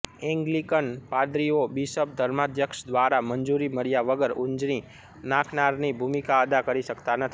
Anglican પાદરીઓ bishop ધર્માધ્યક્ષ દ્વારા મંજૂરી મળ્યા વગર ઊંજણી નાખનારની ભૂમિકા અદા કરી શકતા નથી